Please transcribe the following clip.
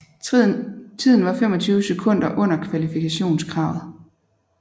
Tiden var 25 sekunder under kvalifikationskravet